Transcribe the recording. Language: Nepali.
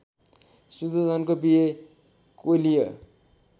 शुद्धोधनको बिहे कोलीय